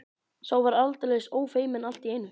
Sá var aldeilis ófeiminn allt í einu!